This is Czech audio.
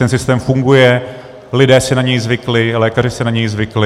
Ten systém funguje, lidé si na něj zvykli, lékaři si na něj zvykli.